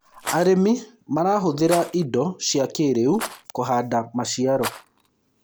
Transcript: arĩmi marahuthira indo cia kĩiriu kuhanda maciaro